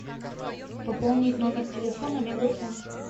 пополнить номер телефона мегафон